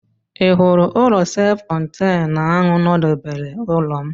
Ị hụrụ ụlọ self contenụ ahụ nọdebere ụlọ m?